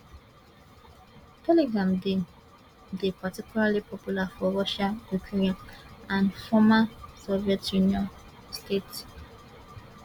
telegram dey dey particularly popular for russia ukraine and former soviet union states